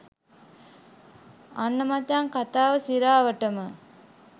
අන්න මචං කතාව සිරාවටම